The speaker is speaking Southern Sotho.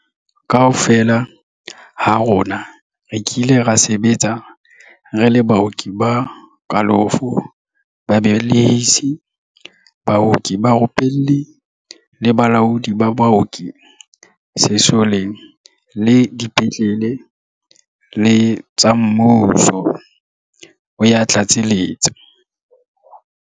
Kaofela ha rona re kile ra sebetsa re le baoki ba kalafo, babe lehisi, baoki barupelli le balaodi ba baoki sesoleng le dipetle leng tsa mmuso, o ya tlatseletsa.